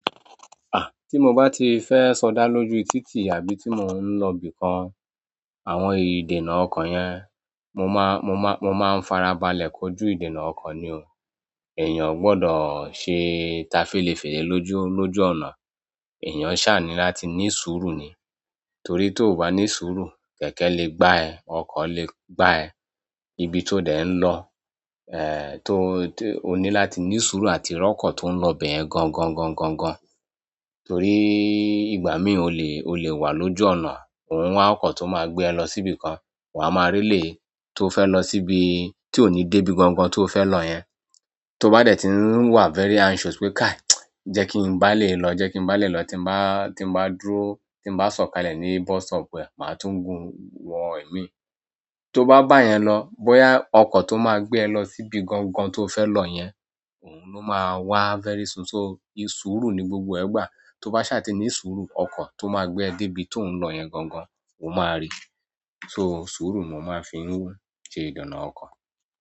À, tí mo bá ti fẹ́ sọdá lójú títì àbí tí mo ń lọ bí kan, àwọn ìdènà ọkọ̀ yẹn, mo máa, mo máa, mo máa ń farabalẹ̀ kójú ìdènà ọkọ̀ ni o. Ẹ̀yàn ò gbọdọ̀ ṣe tafélèfèlé lójú, lójú ọ̀nà. Ẹ̀yàn ṣàní láti ní sùúrù ni. Torí tí ò bá ní sùúrù, kẹ̀kẹ́ lè gbá ẹ, ọkọ̀ lè gbá ẹ. Ibi tí ó dẹ̀ ń lọ, eh, to, to, o ní láti ní sùúrù àti rọkọ tó ń lọ bẹ̀ yẹn gan gan gan gan gan. Torí ìgbà mí ò le, ò le wà lójú ọ̀nà, òun wá, ọkọ̀ tó máa gbé ẹ lọ síbi kan, wà a máa rì lé e tó fẹ́ lọ síbi tí ò ní dé bí gan gan tí o fẹ́ lọ yẹn. Tó bá dẹ̀ ti ń wà very anxious pé káàí, jẹ́ kí n bá lè lọ, jẹ́ kí n bá lè lọ, tí n bá, tí n bá dúró, tí n bá sọ̀kalẹ̀ ní bus stop bẹ, màá tún gun wọn ẹ̀mí. Tó bá bá yẹn lọ, bóyá ọkọ̀ tó máa gbé ẹ lọ síbi gan gan tí o fẹ́ lọ yẹn, òun ló máa wá very soon. So, ì sùúrù ni gbogbo ẹgbàá. Tó bá ṣàní ní sùúrù, ọkọ̀ tó máa gbé ẹ dé ibi tí ò ń lọ yẹn gan gan, o máa rì. So, sùúrù ni wọ́n máa fi ń ṣe ìdènà ọkọ̀.